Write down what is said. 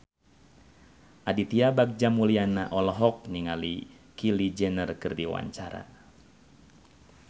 Aditya Bagja Mulyana olohok ningali Kylie Jenner keur diwawancara